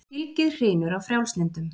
Fylgið hrynur af frjálslyndum